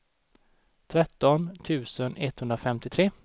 tretton tusen etthundrafemtiotre